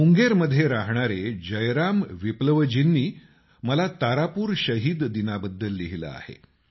मुंगेरमध्ये रहाणारे जयराम विप्लव़जींनी मला तारापूर शहिद दिनाबद्दल लिहिलं आहे